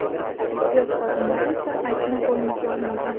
Tibbiyot xodimlari esa aybni bo‘yniga olmagan.